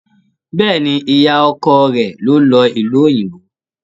Bẹ́ẹ̀ni, ìyá ọkọ rẹ̀ ló lọ ìlú òyìnbó.